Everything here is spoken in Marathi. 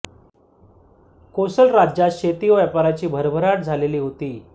कोसल राज्यात शेती व व्यापाराची भरभराट झालेली होती